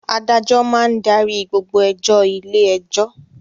Adájọ́ máa ń darí gbogbo ẹjọ́ ilé-ẹjọ́.